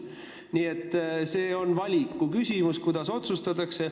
Nii et see on valiku küsimus, kuidas otsustatakse.